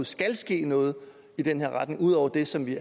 skal ske noget i den her retning ud over det som vi